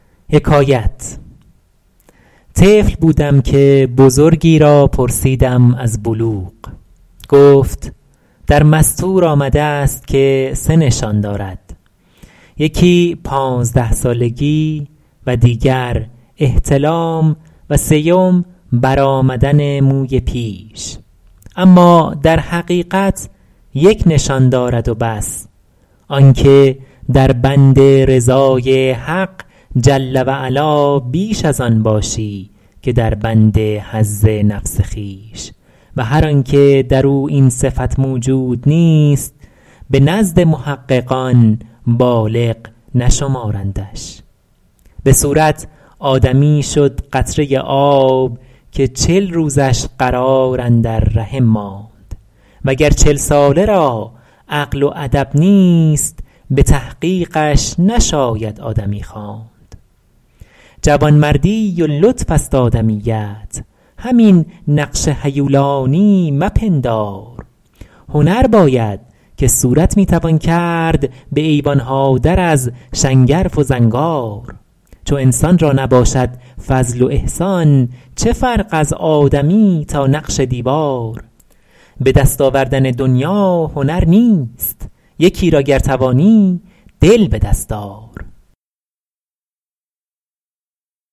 طفل بودم که بزرگی را پرسیدم از بلوغ گفت در مسطور آمده است که سه نشان دارد یکی پانزده سالگی و دیگر احتلام و سیم بر آمدن موی پیش اما در حقیقت یک نشان دارد و بس آن که در بند رضای حق جل و علا بیش از آن باشی که در بند حظ نفس خویش و هر آن که در او این صفت موجود نیست به نزد محققان بالغ نشمارندش به صورت آدمی شد قطره آب که چل روزش قرار اندر رحم ماند و گر چل ساله را عقل و ادب نیست به تحقیقش نشاید آدمی خواند جوانمردی و لطف است آدمیت همین نقش هیولانی مپندار هنر باید که صورت می توان کرد به ایوان ها در از شنگرف و زنگار چو انسان را نباشد فضل و احسان چه فرق از آدمی تا نقش دیوار به دست آوردن دنیا هنر نیست یکی را گر توانی دل به دست آر